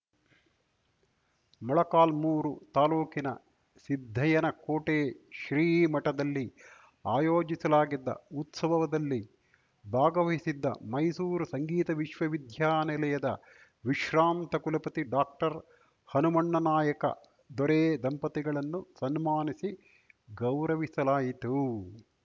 ಮೊಳಕಾಲ್ಮುರು ತಾಲೂಕಿನ ಸಿದ್ದಯ್ಯನ ಕೋಟೆ ಶ್ರೀ ಮಠದಲ್ಲಿ ಆಯೋಜಿಸಲಾಗಿದ್ದ ಉತ್ಸವದಲ್ಲಿ ಭಾಗವಹಿಸಿದ್ದ ಮೈಸೂರು ಸಂಗೀತ ವಿಶ್ವ ವಿದ್ಯಾ ನಿಲಯದ ವಿಶ್ರಾಂತ ಕುಲಪತಿ ಡಾಕ್ಟರ್ಹನುಮಣ್ಣ ನಾಯಕ ದೊರೆ ದಂಪತಿಗಳನ್ನು ಸನ್ಮಾನಿಸಿ ಗೌರವಿಸಲಾಯಿತು